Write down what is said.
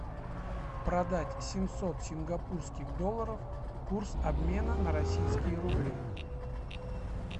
продать семьсот сингапурских долларов курс обмена на российские рубли